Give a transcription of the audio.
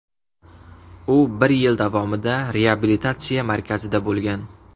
U bir yil davomida reabilitatsiya markazida bo‘lgan.